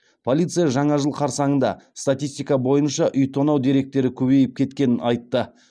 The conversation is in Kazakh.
полиция жаңа жыл қарсаңында статистика бойынша үй тонау деректері көбейіп кеткенін айтты